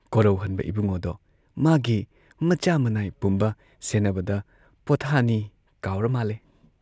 ꯀꯣꯔꯧꯍꯟꯕ ꯏꯕꯨꯡꯉꯣꯗꯣ ꯃꯥꯒꯤ ꯃꯆꯥ ꯃꯅꯥꯏ ꯄꯨꯝꯕ ꯁꯦꯟꯅꯕꯗ ꯄꯣꯊꯥꯅꯤ ꯀꯥꯎꯔꯃꯥꯜꯂꯦ ꯫